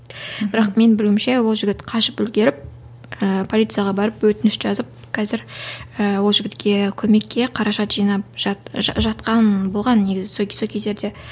бірақ мен білуімше ол жігіт қашып үлгеріп ііі полицияға барып өтініш жазып қазір і ол жігітке көмекке қаражат жинап жатқан болған негізі кез сол кездерде